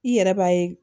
I yɛrɛ b'a ye